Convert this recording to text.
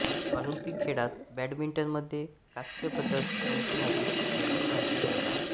Olympic खेळात बॅडमिंटनमध्ये कांस्य पदक जिंकणारी ती पहिली भारतीय महिला